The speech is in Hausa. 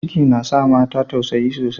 Ciki na sa mata tausayi sosai.